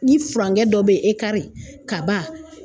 Ni furancɛ dɔ be yen kaba